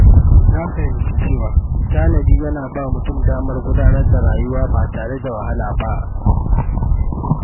Na fahimci cewa tanadi yana ba mutum damar gudanar da rayuwa ba tare da wahala ba.